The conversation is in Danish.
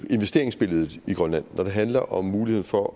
investeringsbilledet i grønland når det handler om muligheden for